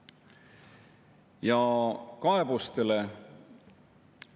Mingeid seksuaalse sättumuse alla eriõigusi ei ole inimestele kunagi kinnitatud.